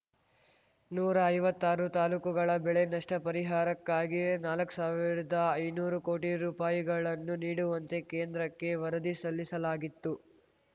ನೂರಾ ಐವತ್ತಾರು ತಾಲೂಕುಗಳ ಬೆಳೆ ನಷ್ಟ ಪರಿಹಾರಕ್ಕಾಗಿ ನಾಲ್ಕು ಸಾವಿರ್ದಾಐನೂರು ಕೋಟಿ ರೂಪಾಯಿಗಳನ್ನು ನೀಡುವಂತೆ ಕೇಂದ್ರಕ್ಕೆ ವರದಿ ಸಲ್ಲಿಸಲಾಗಿತ್ತು